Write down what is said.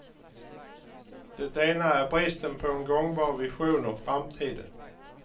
Det ena är bristen på en gångbar vision om framtiden.